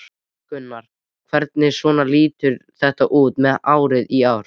Gunnar: Hvernig svona lítur þetta út með árið í ár?